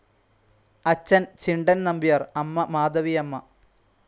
അച്ഛൻ ചിണ്ടൻ നമ്പ്യാർ, അമ്മ മാധവിയമ്മ.